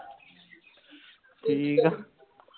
ਠੀਕ ਆਂ